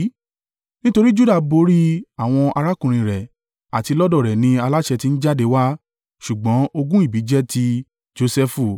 Nítorí Juda borí àwọn arákùnrin rẹ̀, àti lọ́dọ̀ rẹ̀ ni aláṣẹ ti ń jáde wá; ṣùgbọ́n ogún ìbí jẹ́ ti Josẹfu),